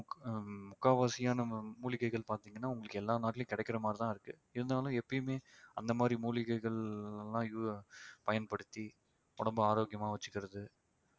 ஹம் முக்காவாசியான மூலிகைகள் பாத்தீங்கன்னா உங்களுக்கு எல்லா நாட்டுலயும் கிடைக்கிற மாதிரிதான் இருக்கு இருந்தாலும் எப்பயுமே அந்த மாதிரி மூலிகைகள் எல்லாம் பயன்படுத்தி உடம்பை ஆரோக்கியமா வச்சுக்கிறது